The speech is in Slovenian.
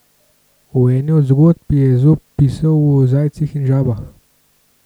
V eni od zgodb je Ezop pisal o zajcih in žabah.